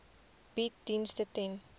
bied dienste ten